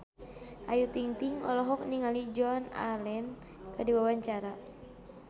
Ayu Ting-ting olohok ningali Joan Allen keur diwawancara